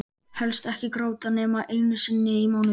Helst ekki gráta nema einu sinni í mánuði.